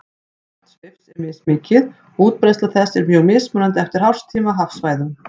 Magn svifs er mismikið og útbreiðsla þess er mjög mismunandi eftir árstíma og hafsvæðum.